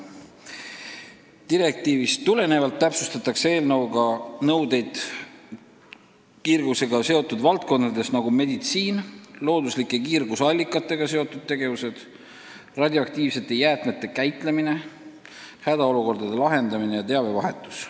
Direktiivist tulenevalt täpsustatakse eelnõus nõudeid kiirgusega seotud valdkondades, nagu meditsiin, looduslike kiirgusallikatega seotud tegevused, radioaktiivsete jäätmete käitlemine, hädaolukordade lahendamine ja teabevahetus.